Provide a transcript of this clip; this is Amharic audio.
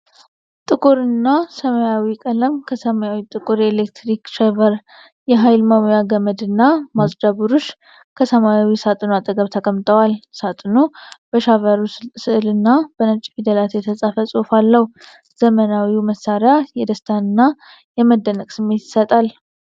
ጥቁርና ሰማያዊ ቀለም ከሰማያዊና ጥቁር የኤሌክትሪክ ሻቨር፣ የኃይል መሙያ ገመድና ማጽጃ ብሩሽ ከሰማያዊ ሳጥኑ አጠገብ ተቀምጠዋል። ሳጥኑ በሻቨሩ ሥዕልና በነጭ ፊደላት የተጻፈ ጽሑፍ አለው። ዘመናዊው መሣሪያ የደስታና የመደነቅ ስሜት ይሰጣል።